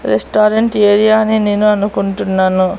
Restaurant area అని నేను అనుకుంటున్నాను.